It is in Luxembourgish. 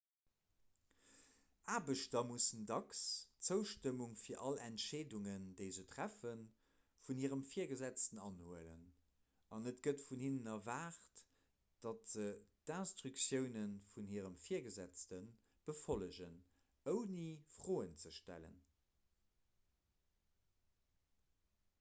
aarbechter musse dacks d'zoustëmmung fir all entscheedungen déi si treffen vun hirem virgesetzten anhuelen an et gëtt vun hinnen erwaart datt se d'instruktioune vun hirem virgesetzte befollegen ouni froen ze stellen